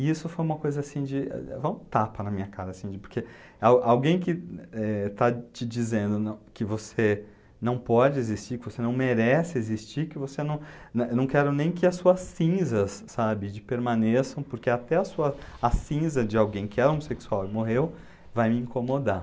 E isso foi uma coisa assim, de vai um tapa na minha cara, assim de, porque al alguém que, eh, está te dizendo não, que você não pode existir, que você não merece existir, que você não... Eu não não quero nem que as suas cinzas, sabe, de, permaneçam, porque até a cinza de alguém que é homossexual e morreu vai me incomodar.